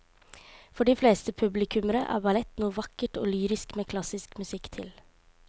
For de fleste publikummere er ballett noe vakkert og lyrisk med klassisk musikk til.